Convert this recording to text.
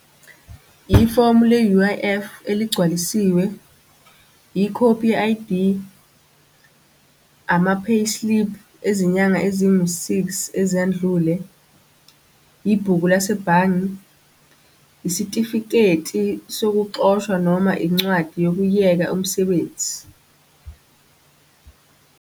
Ifomu le-U_I_F eligcwalisiwe, ikhophi ye-I_D, ama-payslip ezinyanga ezingu-six ezendlule, ibhuku lasebhange, isitifiketi sokuxoshwa noma incwadi yokuyeka umsebenzi.